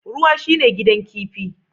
Ruwa shine gidan kifi